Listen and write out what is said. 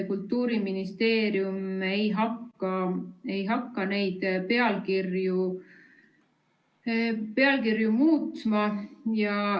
Kultuuriministeerium ei hakka neid pealkirju muutma.